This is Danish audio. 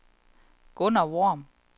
Gunnar Worm